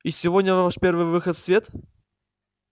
и сегодня ваш первый выход в свет